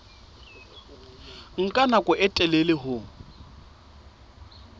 nka nako e telele ho